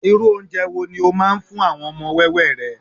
irú ounje wo ni o ma n fún àwọn ọmọ wẹwẹ rẹ